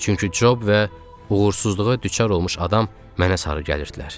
Çünki Cob və uğursuzluğa düçar olmuş adam mənə sarı gəlirdilər.